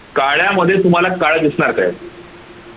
काळ्यामध्ये तुम्हाला काळ दिसणार काय?